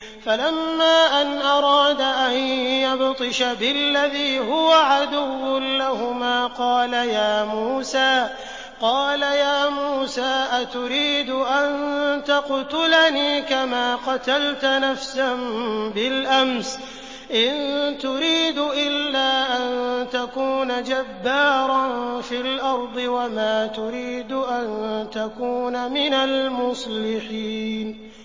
فَلَمَّا أَنْ أَرَادَ أَن يَبْطِشَ بِالَّذِي هُوَ عَدُوٌّ لَّهُمَا قَالَ يَا مُوسَىٰ أَتُرِيدُ أَن تَقْتُلَنِي كَمَا قَتَلْتَ نَفْسًا بِالْأَمْسِ ۖ إِن تُرِيدُ إِلَّا أَن تَكُونَ جَبَّارًا فِي الْأَرْضِ وَمَا تُرِيدُ أَن تَكُونَ مِنَ الْمُصْلِحِينَ